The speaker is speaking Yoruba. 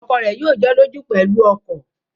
Ọkọ rẹ̀ yóò jọ́lọ́jú pẹ̀lú ọkọ̀